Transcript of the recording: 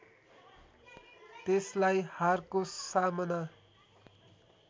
त्यसलाई हारको सामना